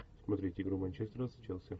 смотреть игру манчестера с челси